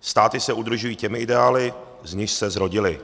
státy se udržují těmi ideály, z nichž se zrodily.